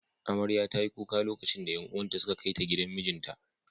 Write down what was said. Amarya ta yi kuka lokacin da ’yan uwan ta suka kai ta gidan mijinta.